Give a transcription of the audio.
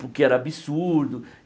Porque era absurdo.